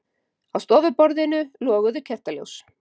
Á stofuborðinu loguðu kertaljós.